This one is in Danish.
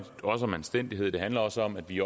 også om anstændighed det handler også om at vi